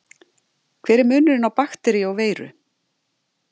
Hver er munurinn á bakteríu og veiru?